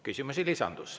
Küsimusi lisandus.